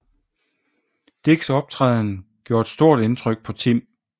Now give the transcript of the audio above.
Dicks optræden gjorde et stort indtryk på Tim